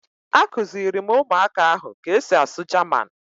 Akụziri m ụmụaka ahụ ka e si asụ Jaman